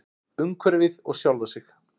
Umhverfið og sjálfa sig.